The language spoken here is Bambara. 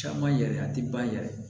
Caman yɛrɛ a tɛ ban yɛrɛ